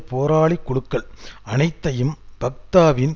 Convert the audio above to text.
போராளி குழுக்கள் அனைத்தையும் ஃபத்தாவின்